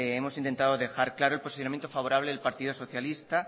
hemos intentado dejar claro el posicionamiento favorable del partido socialista